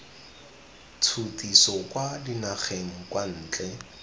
tshutiso kwa dinageng kwa ntle